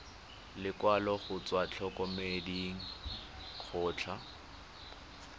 lekwalo go tswa ntlokemeding kgotsa